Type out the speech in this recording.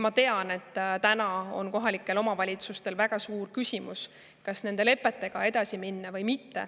Ma tean, et täna on kohalikel omavalitsustel väga suur küsimus, kas nende lepetega edasi minna või mitte.